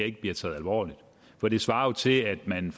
ikke bliver taget alvorligt for det svarer til at man